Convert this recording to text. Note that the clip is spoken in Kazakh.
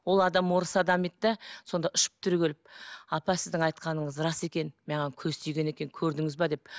ол адам орыс адам еді де сонда ұшып түрегеліп апа сіздің айтқаныңыз рас екен маған көз тиген екен көрдіңіз бе деп